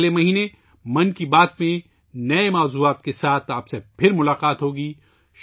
اگلے مہینے ' من کی بات ' میں نئے موضوعات کے ساتھ آپ سے پھر ملاقات ہو گی